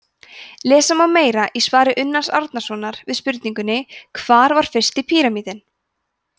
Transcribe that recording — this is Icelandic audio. lesa má meira í svari unnars árnasonar við spurningunni hvar var fyrsti píramídinn